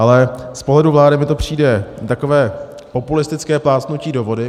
Ale z pohledu vlády mi to přijde takové populistické plácnutí do vody.